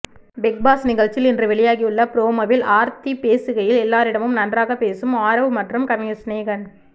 big boss நிகழ்ச்சியில் இன்று வெளியாகியுள்ள ப்ரோமோவில் ஆர்த்தி பேசுகையில் எல்லாரிடமும் நன்றாக பேசும் ஆரவ் மற்றும் கவிஞர் சினேகன்